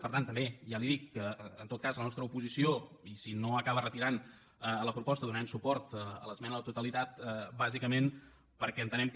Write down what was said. per tant també ja li dic que en tot cas la nostra oposició i si no acaba retirant la proposta donarem suport a l’esmena a la totalitat bàsicament perquè entenem que